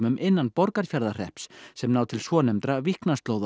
innan Borgarfjarðarhrepps sem ná til svonefndra